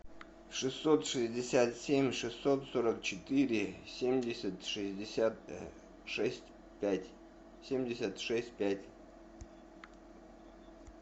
шестьсот шестьдесят семь шестьсот сорок четыре семьдесят шестьдесят шесть пять семьдесят шесть пять